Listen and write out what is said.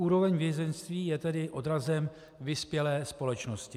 Úroveň vězeňství je tedy odrazem vyspělé společnosti.